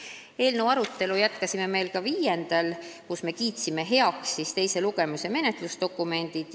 Me jätkasime eelnõu arutelu veel ka 5. märtsil, kui me kiitsime heaks teise lugemise menetlusdokumendid.